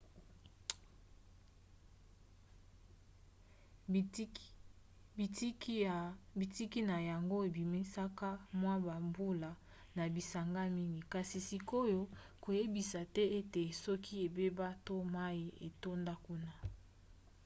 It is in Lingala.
bitiki na yango ebimisaka mwa bambula na bisanga mingi kasi sikoyo bayebisi te ete soki ebeba to mai etonda kuna